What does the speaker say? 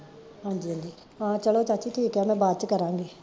ਹਾਂਜੀ ਹਾਂਜੀ, ਹਾਂ ਚਲੋ ਚਾਚੀ ਠੀਕ ਆ ਮੈਂ ਬਾਅਦ ਕਰਾਂਗੀ